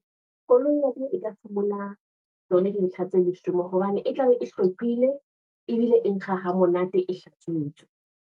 Koloi ya ka e tla fumana tsona dintlha tse leshome, hobane e tlabe e hlwekile, ebile e nkga ha monate e hlatswitswe.